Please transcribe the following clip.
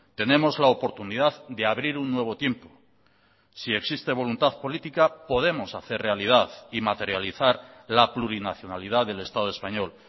tenemos la oportunidad de abrir un nuevo tiempo si existe voluntad política podemos hacer realidad y materializar la plurinacionalidad del estado español